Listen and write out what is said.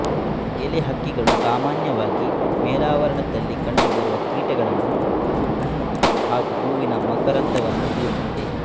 ಎಲೆ ಹಕ್ಕಿ ಗಳು ಸಾಮಾನ್ಯವಾಗಿ ಮೇಲಾವರಣದಲ್ಲಿ ಕಂಡುಬರುವ ಕೀಟಗಳನ್ನು ಹಣ್ಣು ಹಾಗು ಹೂವಿನ ಮಕರಂದವನ್ನು ಹೀರುತ್ತವೆ